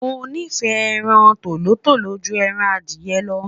mo nifẹ ẹran tòlótòló jù ẹran Adiye lo